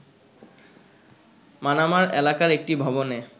মানামার এলাকার একটি ভবনে